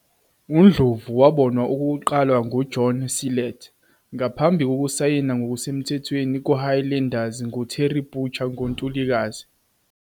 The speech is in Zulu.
UNdlovu wabonwa okokuqala nguJohn Sillett, ngaphambi kokusayina ngokusemthethweni kuHighlanders nguTerry Butcher ngoNtulikazi 199.